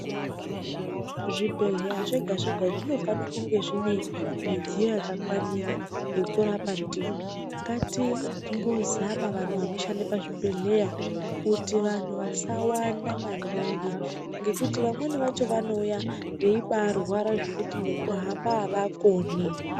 Zvibhedhlera zvega zvega zvinofane kunge zvine midziyo yakakwanira yekurapa ndiwo ngatimbozama vanhu vanoshanda pazvibhedhlera kuti vanhu vasawanda maningi ngekuti vamweni vacho vanouya veibarwara zvekuti ngekuhamba avakoni.